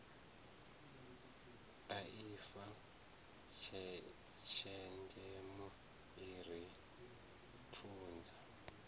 aifa tshenzhemo i ri funza